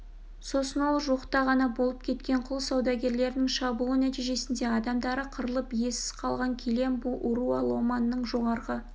сосын ол жуықта ғана болып кеткен құл саудагерлерінің шабуылы нәтижесінде адамдары қырылып иесіз қалған килембу уруа ломанның жоғарғы